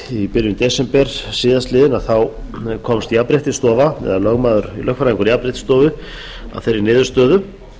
í byrjun desember síðastliðnum komst jafnréttisstofa eða lögfræðingur jafnréttisstofu að þeirri niðurstöðu